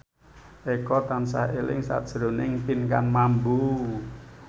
Eko tansah eling sakjroning Pinkan Mambo